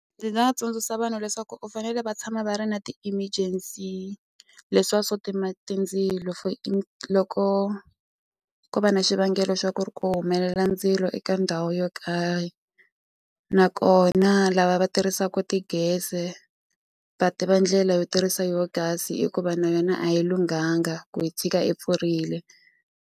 Ndzi nga tsundzuxa vanhu leswaku u fanele va tshama va ri na ti-emergency leswiya swo tima tindzilo for loko ko va na xivangelo xa ku ri ku humelela ndzilo eka ndhawu yo karhi nakona lava va tirhisaka ti-gas-e va tiva ndlela yo tirhisa yo gas hikuva na yona a yi lunghanga ku yi tshika yi pfurile.